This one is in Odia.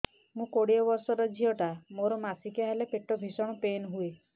ମୁ କୋଡ଼ିଏ ବର୍ଷର ଝିଅ ଟା ମୋର ମାସିକିଆ ହେଲେ ପେଟ ଭୀଷଣ ପେନ ହୁଏ